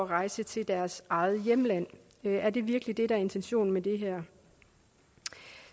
rejse til deres eget hjemland er det virkelig det der er intentionen med det her